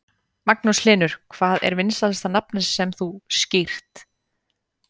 Magnús Hlynur: Hvað er vinsælasta nafnið sem þú skírt?